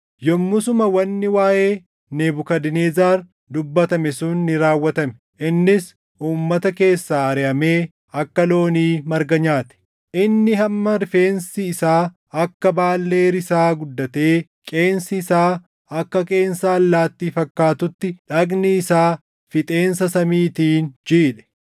Yommusuma wanni waaʼee Nebukadnezar dubbatame sun ni raawwatame. Innis uummata keessaa ariʼamee akka loonii marga nyaate. Inni hamma rifeensi isaa akka baallee risaa guddatee qeensi isaa akka qeensa allaattii fakkaatutti dhagni isaa fixeensa samiitiin jiidhe.